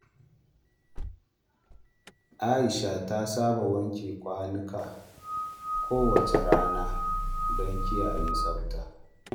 Aisha ta saba wanke kwanuka kowace rana don kiyaye tsafta.